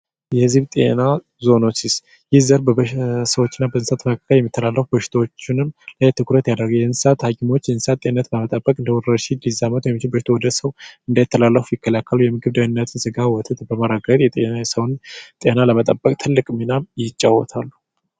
አነስተኛ መስኖ የምንለው ከአንድ በታች ስፋት ያለው በግብሮች ማህበራት የሚመራ አብዛኛውን የኢትዮጵያ የመስኖ ልማት በዚህ ስራ የሚካሄድ ነው። የመንገዴ በአገራችን ውስጥ ከሚካሄዱ የመስኖ ስርዓቶች ውስጥ በግብርና ክፉ የሚከወን ነው።